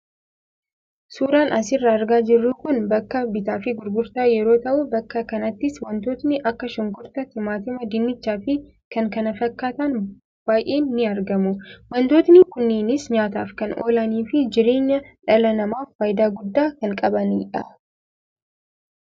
Suuraan asirraa argaa jirru kun bakka bittaaf gurgurtaa yeroo tahu bakka kanattis waantotni akka shunkurtaa, timaatimaa, dinnichaa fi kan kana fakkaatan baayeen ni argamu. Waantotni kunneenis nyaataaf kan oolani fi jireenya dhala namaaf faayidaa guddaa kan qabanidha.